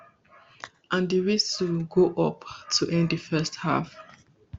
and di whistle go up to end di first half